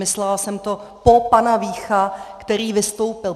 Myslela jsem to po panu Víchovi, který vystoupil.